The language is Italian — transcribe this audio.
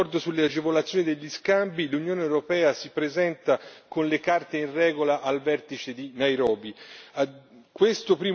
Con la ratifica dell'accordo sulle agevolazioni degli scambi, l'Unione europea si presenta con le carte in regola al vertice di Nairobi.